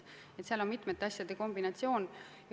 Nii et see on mitme asja kombinatsioon.